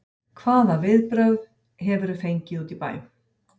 Hvaða viðbrögð hefurðu fengið úti í bæ?